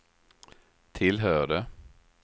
tillhörde